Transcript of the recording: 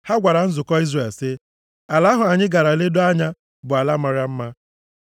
Ha gwara nzukọ Izrel sị, “Ala ahụ anyị gara ledoo anya bụ ala mara mma.